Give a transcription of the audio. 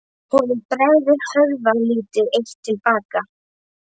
Honum bregður, hörfar lítið eitt til baka.